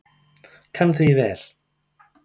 Kann því vel.